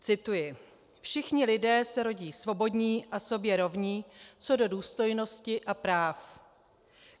Cituji: Všichni lidé se rodí svobodní a sobě rovní co do důstojnosti a práv.